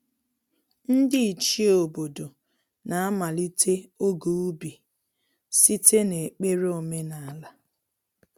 Ndị Ichie obodo na-amalite oge ubi site n’ekpere omenala.